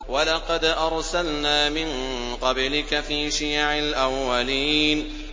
وَلَقَدْ أَرْسَلْنَا مِن قَبْلِكَ فِي شِيَعِ الْأَوَّلِينَ